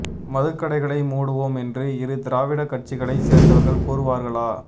மதுக்கடைகளை மூடுவோம் என்று இரு திராவிட கட்சிகளைச் சேர்ந்தவர்கள் கூறுவார்களா